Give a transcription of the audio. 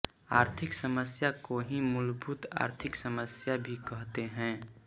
आर्थिक समस्या को ही मूलभूत आर्थिक समस्या भी कहते हैं